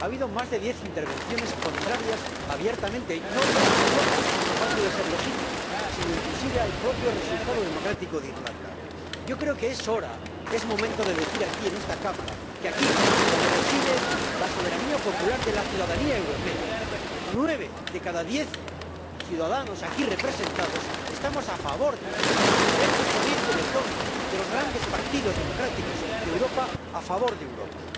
Ha habido más de diez intervenciones contrarias abiertamente, no ya a Europa —lo cual puede ser legítimo—, sino inclusive al propio resultado democrático del referéndum en Irlanda. Yo creo que es hora, es momento de decir en esta Cámara que aquí, donde reside la soberanía popular de la ciudadanía europea, nueve de cada diez ciudadanos aquí representados están a favor de Europa, que hay una corriente de fondo de los grandes partidos democráticos de Europa a favor de Europa.